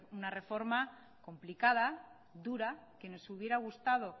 una reforma complicada dura que nos hubiera gustado